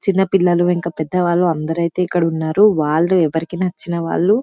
చిన్న పిల్లలు ఇంకా పెద్ద వాళ్ళు అందరైతే ఇక్కడ ఉన్నారు వాళ్ళు ఎవరికి నచ్చిన వాళ్ళు--